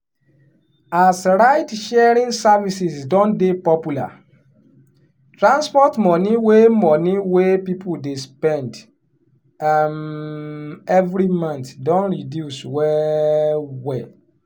as ride-sharing services don dey popular transport money wey money wey people dey spend um every month don reduce well well.